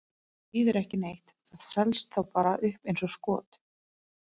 Það þýðir ekki neitt, það selst þá bara upp eins og skot.